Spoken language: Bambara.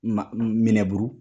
Minɛburu